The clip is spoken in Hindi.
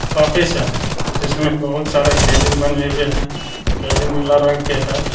ऑफिस है जिसमें बहुत सारा केबिन बने हुए हैं केबिन नीला रंग के है।